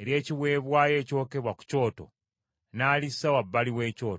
ery’ekiweebwayo ekyokebwa ku kyoto, n’alissa wabbali w’ekyoto.